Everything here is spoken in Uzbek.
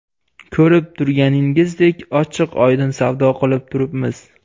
Ko‘rib turganingizdek, ochiq-oydin savdo qilib turibmiz.